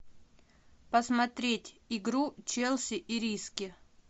посмотреть игру челси и риски